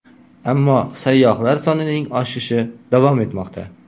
Ammo sayyohlar sonining oshishi davom etmoqda.